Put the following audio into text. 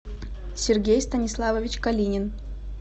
сергей станиславович калинин